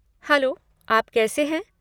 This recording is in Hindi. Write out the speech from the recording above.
हैलो, आप कैसे हैं?